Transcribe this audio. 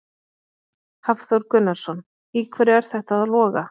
Hafþór Gunnarsson: Í hverju er þetta að loga?